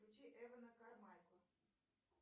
включи эвана кармайкла